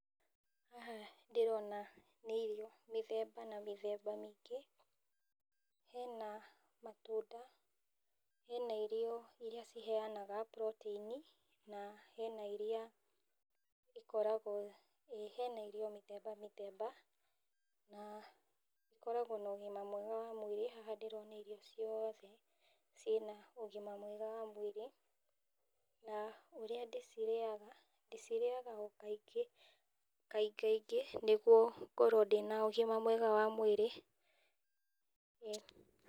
Haha ndĩrona nĩ irio mĩthemba na mĩthemba mĩingĩ, hena matunda, hena irio iria ciheanaga protein, na hena iria ikoragwo, ĩ hena irio mĩthemba mĩthemba na ikoragwo na ũgĩma mwega wa mwĩrĩ na haha ndĩrona irio ciothe , cina ũgima mwega wa mwĩrĩ na ũrĩa ndĩcirĩaga ,ndĩcirĩaga o kaingi kaingaingĩ , nĩguo ngorwo ndĩna ũgima mwega wa mwĩrĩ.